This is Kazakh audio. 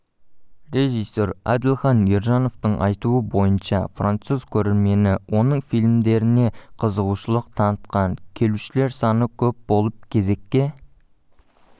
режиссер әділхан ержановтың айтуы бойынша француз көрермені оның фильмдеріне қызығушылық танытқан келушілер саны көп болып кезеккке